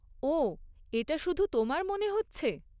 ওহ, এটা শুধু তোমার মনে হচ্ছে।